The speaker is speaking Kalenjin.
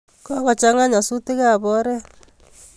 Kokochang' a nyasutik ap oret